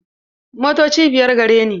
Motoci biyar gare ni.